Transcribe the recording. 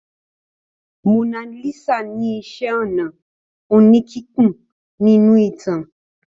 Mona Lisa ni iṣẹ́-ọnà oníkíkùn nínú ìtàn.